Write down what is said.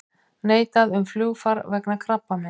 Neitað um flugfar vegna krabbameins